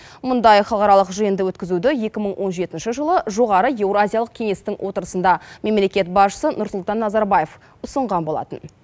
мұндай халықаралық жиынды өткізуді екі мың он жетінші жылы жоғары еуразиялық кеңестің отырысында мемлекет басшысы нұрсұлтан назарбаев ұсынған болатын